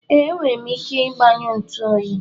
Ee, enwere m ike gbanyụọ ntu oyi.